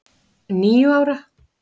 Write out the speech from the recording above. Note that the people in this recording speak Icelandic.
Níu ára!